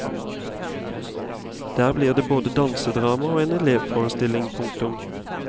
Der blir det både dansedrama og en elevforestilling. punktum